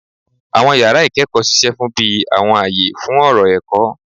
Àwọn yàrá ìkẹ́kọ̀ọ́ ṣiṣẹ́ bí àwọn àyè fún ọ̀rọ̀ ẹ̀kọ́.